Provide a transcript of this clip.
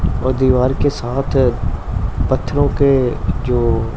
और दीवार के साथ पत्थरों के जो--